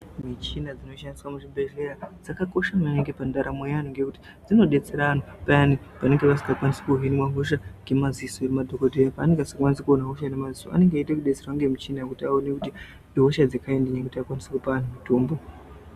Michina dzinoshandiswa muzvibhehleya dzakakosha maningi pandaamo yeanhu ngekuti dzinodetsera anhu payani panenge pasingakwanisi kuhinwa hosha ngemadziso emadhogodheya. Paanenge asingakwanisi kuona hosha nemadziso inenge eida kudetserwa ngemichina kuti aone kuti ihosha dzekaindii kuti akwanise kupa antu mitombo.